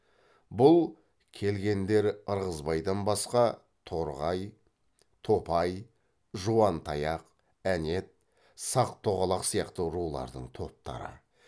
бұл келгендер ырғызбайдан басқа торғай топай жуантаяқ әнет сақ тоғалақ сияқты рулардың топтары